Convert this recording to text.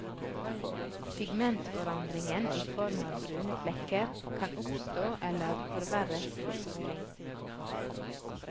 Pigmentforandringen i form av brune flekker kan oppstå eller forverres ved soling.